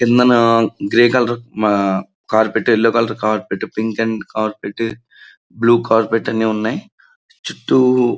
కిందన grey colour మన carpet yellow colour carpet pink and carpet blue carpet అన్ని ఉన్నాయి చుట్టూ--